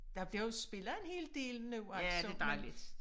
Der bliver også spillet en hel del nu altså men